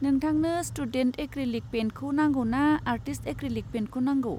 नोंथांनो student acrylic पेइन्टखौ नांगौ ना आर्टिस्ट एक्रिलिक पेइन्टखौ नांगौ?